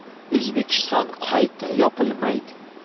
O‘zbekiston qayta yopilmaydi.